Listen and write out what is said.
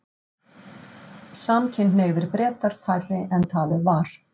Samkynhneigðir Bretar færri en talið var